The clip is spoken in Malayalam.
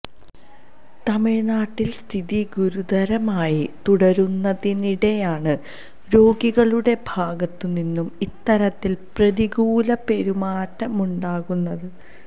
തമിഴ്നാട്ടിൽ സ്ഥിതി ഗുരുതരമായി തുടരുന്നതിനിടെയാണ് രോഗികളുടെ ഭാഗത്തു നിന്നും ഇത്തരത്തിൽ പ്രതികൂല പെരുമാറ്റമുണ്ടാകുന്നത്